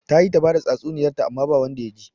Ta yi ta bada tsatsuniyarta amma ba wanda ya ji